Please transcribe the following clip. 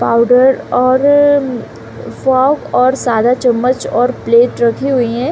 Powder और सौंफ और सादा चम्मच और प्लेट रखी हुई है।